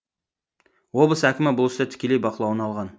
облыс әкімі бұл істі тікелей бақылауына алған